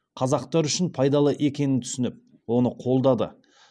қазақтар үшін пайдалы екенін түсініп оны қолдады